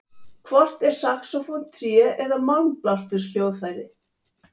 Hvort er saxófónn tré- eða málmblásturshljóðfæri?